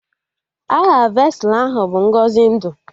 Aha vesụlụ ahụ bụ Ngọzi ndụ